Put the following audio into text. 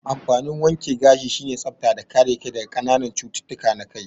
Amfanin wake gashi sine tsafta da kare kai daga kananan cututtuka na kai